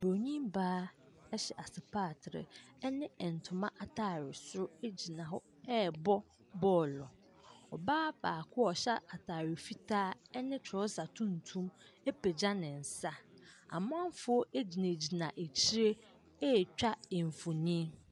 Buronin baa hyɛ asepatere ne ntoma atadeɛ soro gyina hɔ rebɔ bɔɔlo. Ɔbaa baako a ɔhyɛ atade fitaa ne trɔsa tuntum apagya ne nsa. Amanfoɔ gyinagyina akyire retwa mfonin.